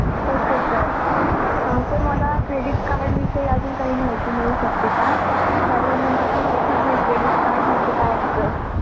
Okay sir अं तर मला Credit card विषयी अजून काही माहिती मिळू शकते का? कारण मला माहितीच नाही Credit card म्हणजे काय असता!